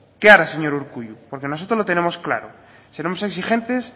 qué hará señor urkullu porque nosotros lo tenemos claro seremos exigentes